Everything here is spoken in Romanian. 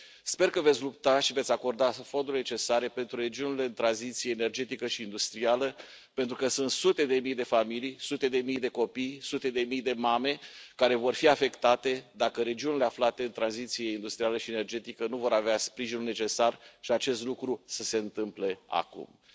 Sper că veți lupta și veți acorda fondurile necesare pentru regiunile de tranziție energetică și industrială, pentru că sunt sute de mii de familii, sute de mii de copii, sute de mii de mame care vor fi afectate, dacă regiunile aflate în tranziție industrială și energetică nu vor avea sprijinul necesar și ca acest lucru să se întâmple acum. Vă doresc succes, doamnă von der Leyen.